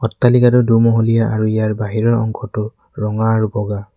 অট্টালিকাটো দু মহলীয়া আৰু ইয়াৰ বাহিৰৰ অংশটো ৰঙা আৰু বগা।